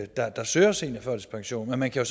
der der søger seniorførtidspension men man kan